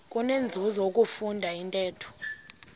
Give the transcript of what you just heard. kunenzuzo ukufunda intetho